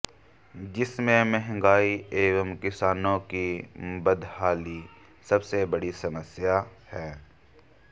जिसमें महंगाई एवं किसानों की बदहाली सबसे बड़ी समस्या हैं